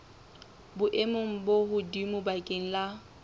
boemong bo hodimo bakeng la